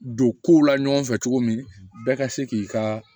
Don kow la ɲɔgɔn fɛ cogo min bɛɛ ka se k'i ka